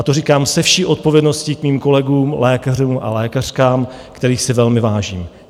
A to říkám se vší odpovědností k svým kolegům, lékařům a lékařkám, kterých si velmi vážím.